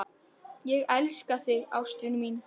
Ég elska þig ástin mín.